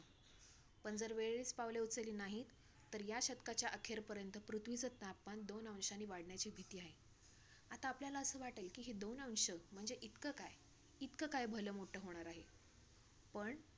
चला बाबा कोणतरी मस्करी करत असेल आपली तर मी तर लक्ष नाय दिल जरा पुढे गेलो परत तोच touch झाला. तर अ